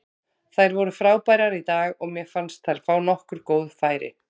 Þær voru frábærar í dag og mér fannst þær fá nokkur góð færi.